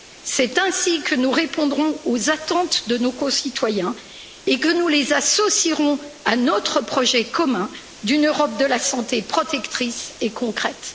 C'est ainsi que nous répondrons aux attentes de nos concitoyens et que nous les associerons à notre projet commun d'une Europe de la santé protectrice et concrète.